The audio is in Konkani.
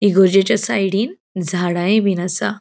इगर्जिच्या साइडीन झाडायबिन असा.